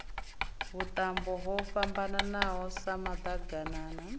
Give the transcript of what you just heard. vhuṱambo ho fhambananaho sa maḓaganana